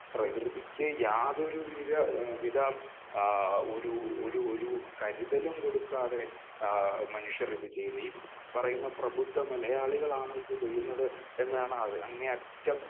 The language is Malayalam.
പ്രകൃതിക്ക് യാതൊരു വിധ ആ ഒരു ഒരു കരുതലും കൊടുക്കാതെ ആ മനുഷ്യർ ഇത് ചെയ്യുന്നു. ഈ പറയുന്ന പ്രഭുദ്ധ മലയാളികളാണ് ഇത് ചെയ്യുന്ന എന്നാണ് അങ്ങേയറ്റം